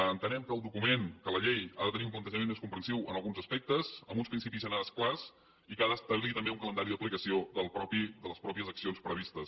entenem que el document que la llei ha de tenir un plantejament més comprensiu en alguns aspectes amb uns principis generals clars i que ha d’establir també un calendari d’aplicació de les mateixes accions previstes